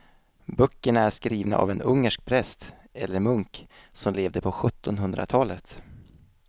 Böckerna är skrivna av en ungersk präst eller munk som levde på sjuttonhundratalet.